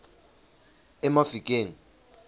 emafikeng